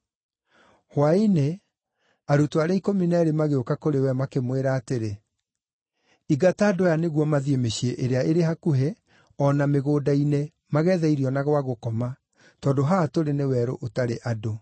Hwaĩ-inĩ arutwo arĩa ikũmi na eerĩ magĩũka kũrĩ we makĩmwĩra atĩrĩ, “Ingata andũ aya nĩguo mathiĩ mĩciĩ ĩrĩa ĩrĩ hakuhĩ o na mĩgũnda-inĩ mageethe irio na gwa gũkoma, tondũ haha tũrĩ nĩ werũ ũtarĩ andũ.”